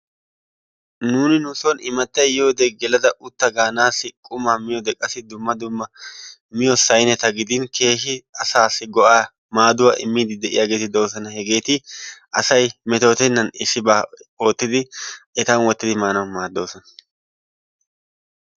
Nuuni nu soon imattay yiyoode geelada utta gaanasi qumaa miyoode qassi dumma dumma miyoo saynneta gidin keehi asaasi go"aa maaduwaa immiidi de'iyaageti doosona. hegeeti asay metootennan issibaa etan woottidi maanawu maaddoosona.